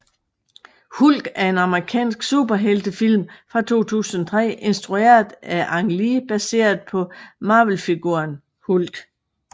Hulk er en amerikansk superheltefilm fra 2003 instrueret af Ang Lee baseret på Marvelfiguren Hulk